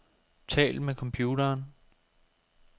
Tal med computeren.